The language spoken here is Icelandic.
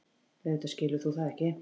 Auðvitað skilur þú það ekki.